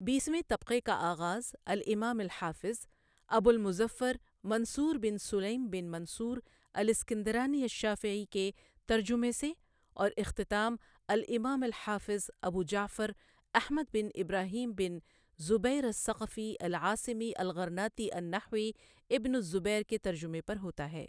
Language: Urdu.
بیسویں طبقہ کا آغاز الامام الحافظ ابوالمظفر منصور بن سُلَیم بن منصور الاسکندرانی الشافعی کے ترجمہ سے اور اختتام الامام الحافظ ابوجعفر احمد بن ابراہیم بن زبیر الثقفی العاصمی الغرناطی النحوی ابن الزبیر کے ترجمہ پر ہوتا ہے۔